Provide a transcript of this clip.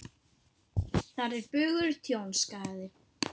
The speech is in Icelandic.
Þar er bugur tjón, skaði.